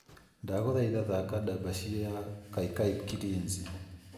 Ndagũthaitha thaaka ndabasie ya kakai kilinzi